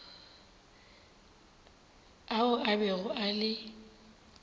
ao a bego a le